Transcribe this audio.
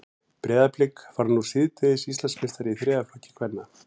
Breiðablik varð nú síðdegis Íslandsmeistari í þriðja flokki kvenna.